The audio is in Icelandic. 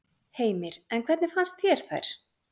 Heimir: En hvernig fannst þér þær?